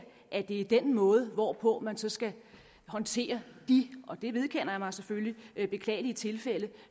at det er den måde hvorpå man så skal håndtere de og det vedkender jeg mig selvfølgelig beklagelige tilfælde